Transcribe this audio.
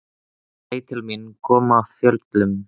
Hann leit til mín, kom af fjöllum.